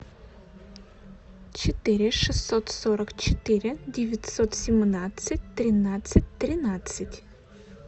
четыре шестьсот сорок четыре девятьсот семнадцать тринадцать тринадцать